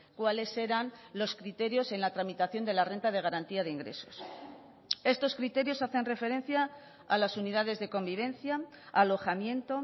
cuáles eran los criterios en la tramitación de la renta de garantía de ingresos estos criterios hacen referencia a las unidades de convivencia alojamiento